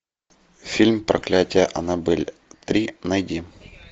фильм проклятие аннабель три найди